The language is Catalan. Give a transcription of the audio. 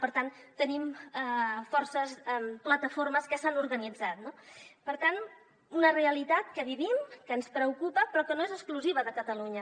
per tant tenim forces plataformes que s’han organitzat no per tant una realitat que vivim que ens preocupa però que no és exclusiva de catalunya